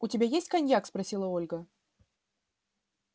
у тебя есть коньяк спросила ольга